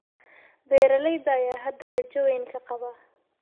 Beeralayda ayaa hadda rajo weyn ka qaba.